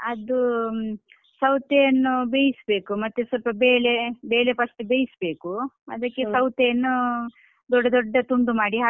ಅದು ಸೌತೆಯನ್ನು ಬೈಸ್ಬೇಕು ಮತ್ತೆ ಸ್ವಲ್ಪ ಬೇಳೆ ಬೇಳೆ first ಬೈಸ್ಬೇಕು ಅದಕ್ಕೆ ಸೌತೆಯನ್ನು ದೊಡ್ಡ ದೊಡ್ಡ ತುಂಡು ಮಾಡಿ ಹಾಕ್ಬೇಕು